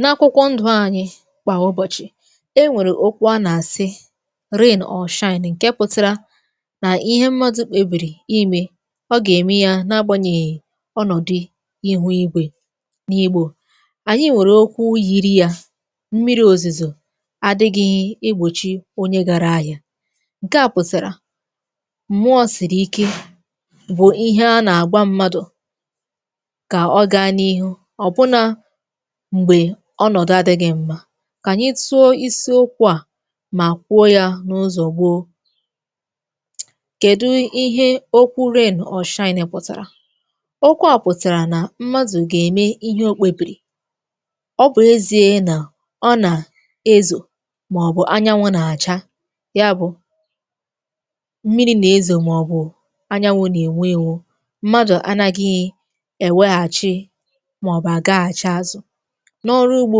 N’akwụkwọ ndụ̇ anyị kwà ụbọ̀chị̀, e nwèrè okwu a nà-àsị rain or shine, nkè pụtịrȧ nà ihe mmadụ̇ kpebìrì imė, ọ gà-ème ya n’agbànyèghị̀ ọnọ̀dụ̀ ihu igwè. N’igbò, ànyị nwèrè okwu yiri ya, mmiri òzìzò adịghị̇ igbòchi onye gȧra ahịa. Nke a pụtara, m̀mụọ sị̀rị ike bụ̀ ihe a nà-àgwa mmadụ̀ kà ọ gaa n’ihu, ọ̀ bụnà m̀gbè ọnọ̀dụ adị̇ghị̇ mmȧ. Kànyị tụọ isi okwu̇ à mà kwuo yȧ n’ụzọ̀ gboo. Kèdu ihe okwu rain or shine pùtàrà? Okwu à pụ̀tàrà nà mmadụ̀ gà-ème ihe okpėbìrì, ọbụ̀ ezie nà ọ nà ezò màọbụ̀ anyanwụ̇ nà-àcha ya bụ̀ mmiri nà-ezò màọbụ̀ anyanwụ̇ nà-ènwe ėnwù mmadụ̀ anaghị̇ èweghàchi màọbụ̀ àgaghàchi azụ̀. N'ọrụ ugbo,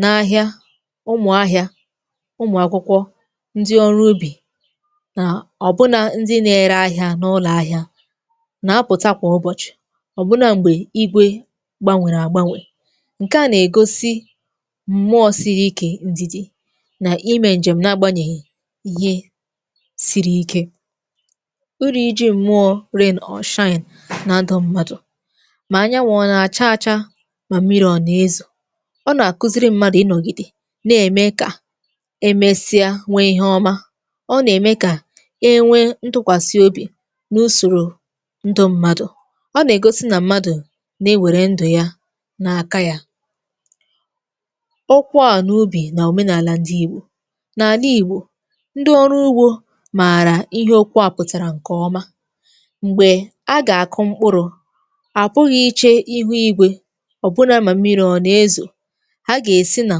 n’ahịa, ụmụ̀ ahịa, ụmụ̀ àkwụkwọ̇, ndị ọrụ ubì nà ọ̀bụna ndị na-ere ahịa n’ụlọ̇ ahịa, nà-apụ̀ta kwà ụbọ̀chị̀ ọ̀bụna m̀gbè igwe gbanwèrè àgbanwè, ǹke à nà-ègosi m̀mụọ̇ siri ikė, ǹdìdì nà imė njèm nà-agbanyèghì ihe siri ike. Iri ji̇ mụọ̇ rain or shine na ndụ m̀madụ̇, ma anyanwụ ọ na acha acha, ma mmiri ọ na ezo, ọ nà-àkụziri mmadụ̀ ịnọ̀gìdè na-ème kà emesịa nwee ihe ọma ọ nà-ème kà e nwee ntụkwàsị obì n’usòrò ndụ mmadụ̀, ọ nà-ègosi nà mmadụ̀ na-ewère ndụ̀ ya nà-àka ya. Okwu ani ubì nà òmenàlà ndị ìgbò. Nà àla gbò, ndị ọrụ ugbȯ mààrà ihe okwu a pụ̀tàrà ǹkè ọma, m̀gbè a gà-àkụ mkpụrụ̇, apụghị iche ihu ígwé, ma mmiri a na ezo, ha gà-èsi nà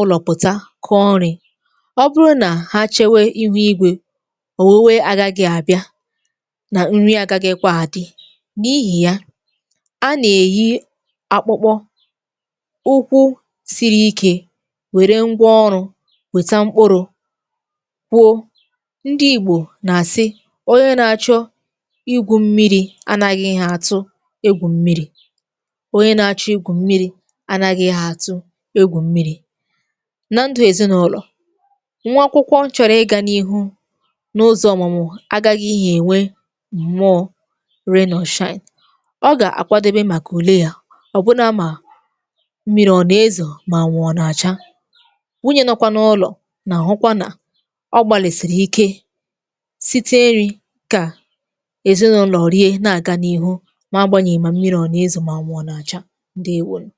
ụlọ̀ pụ̀ta kọọ nri̇. Ọ bụrụ nà ha chėwe ihu igwė, ọ̀wuwe aghȧgị̇ àbịa nà nri agȧghị̇ kwa àdị, n’ihì ya, a nà-èyi akpụkpọ ukwu siri ikė wère ngwa ọrụ̇ wèta mkpụrụ kwuo. Ndi igbò nà-àsị, onye na-achọ igwu̇ mmiri̇, a nàghịghị atụ egwù mmiri̇, onye na-achọ igwu mmiri anaghịghị̇ àtụ egwù mmiri. Na ndụ̀ èzinụlọ̀, nwa akwụkwọ nchọ̀rọ̀ ịgȧ n’ihu n’ụzọ̇ ọ̀mụmụ agaghị̇ghị enwe mmụọ rain or shine, ọ gà-àkwadobe màkà ùle yȧ ọ̀bụna mà mmiri ọ̀nà ezò mà anwụ̀ ọ̀ nà-àcha, nwunye nọ kwȧ n’ụlọ̀ nà àhụkwa nà ọ gbàlèsìrì ike site nri̇ kà èzinụlọ̀ rie na-àga n’ihu ma agbȧnyè mà mmiri̇ ọ̀nà ezò mà anwụ ọ̀ nà-àcha, ǹdewȯnù.